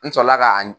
N sɔrɔla ka